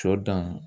Sɔ dan